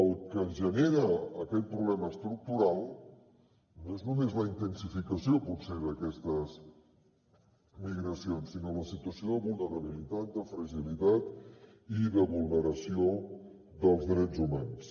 el que genera aquest problema estructural no és només la intensificació potser d’aquestes migracions sinó la situació de vulnerabilitat de fragilitat i de vulneració dels drets humans